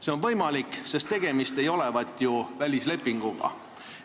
See on võimalik, sest tegemist ei olevat ju välislepinguga.